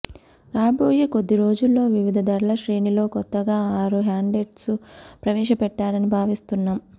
రాబోయే కొద్ది రోజుల్లో వివిధ ధరల శ్రేణిలో కొత్తగా ఆరు హ్యాండ్సెట్స్ను ప్రవేశపెట్టాలని భావిస్తున్నాం